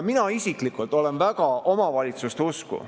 Mina isiklikult olen väga omavalitsuste usku.